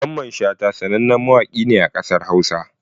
Mamman Shata sanannen mawaƙi ne a ƙasar Hausa